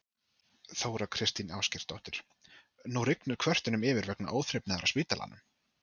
Þóra Kristín Ásgeirsdóttir: Nú rignir kvörtunum yfir vegna óþrifnaðar á spítalanum?